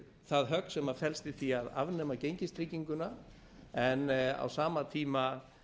það högg sem felst í því að afnema gengistrygginguna en á sama tíma